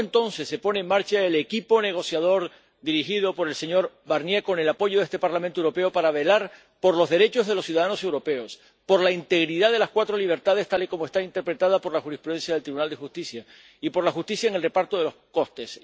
y solo entonces se pone en marcha el equipo negociador —dirigido por el señor Barnier, con el apoyo de este Parlamento Europeo— para velar por los derechos de los ciudadanos europeos, por la integridad de las cuatro libertades —tal y como están interpretadas por la jurisprudencia del Tribunal de Justicia— y por la justicia en el reparto de los costes.